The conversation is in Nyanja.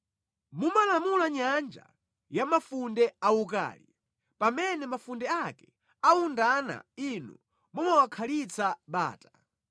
Mumalamula nyanja ya mafunde awukali; pamene mafunde ake awundana Inu mumawakhalitsa bata.